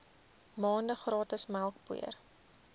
maande gratis melkpoeier